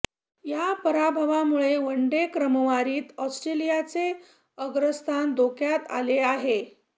या पराभवामुळे वनडे क्रमवारीत ऑस्ट्रेलियाचे अग्रस्थान धोक्यात आले आहे